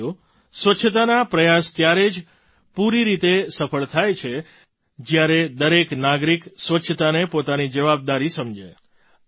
સાથીઓ સ્વચ્છતાના પ્રયાસ ત્યારે જ પૂરી રીતે સફળ થાય છે જ્યારે દરેક નાગરિક સ્વચ્છતાને પોતાની જવાબદારી સમજે